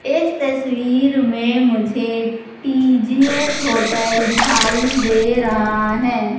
इस तस्वीर में मुझे टी_जी_एस होटल दिखाई दे रहा है।